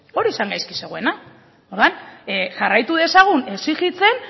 hori zen gaizki zegoena orduan jarraitu dezagun exijitzen